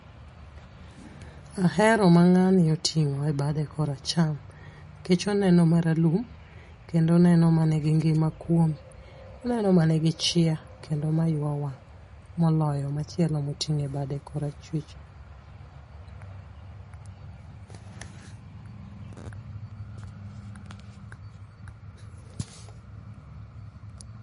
Ahero ma ng'ani oting'o e bade kor acham nikech oneno mar alum kendo oneno manigingima kuome. Oneno manigi chia kendo ma ywa wang' moloyo machielo moting'o e bade kor achwich.